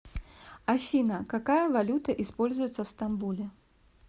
афина какая валюта используется в стамбуле